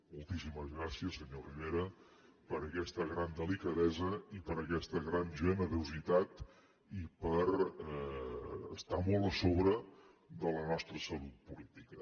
moltíssimes gràcies senyor rivera per aquesta gran delicadesa i per aquesta gran generositat i per estar molt a sobre de la nostra salut política